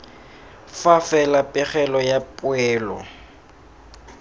fa fela pegelo ya poelo